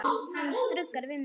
Hann stuggar við mér.